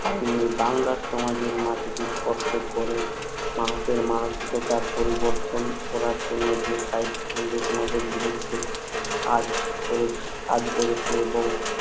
বাইরে বাংলার সমাজের মাটিতে স্পষ্ট করেন মানুষ এর মানসিকতা পরিবর্তন করার জন্য যে সাহিত্য নিদোসনেদের বিরুদ্ধে কাজ করেছে কাজ করেছে এবং